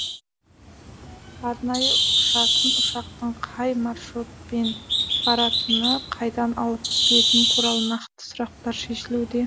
арнайы ұшатын ұшақтың қай маршрутпен баратыны қайдан алып келетіні туралы нақты сұрақтар шешілуде